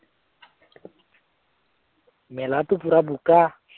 মেলাটো পুৰা বোকা ।